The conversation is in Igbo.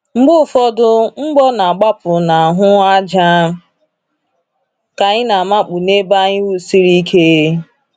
Mgbe ụfọdụ, mgbọ na-agbapụ n'ahụ́ ájá ka anyị na-amakpu n'ebe anyị wusiri ike.